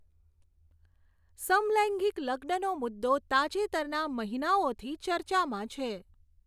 સમલૈંગિક લગ્નનો મુદ્દો તાજેતરના મહિનાઓથી ચર્ચામાં છે.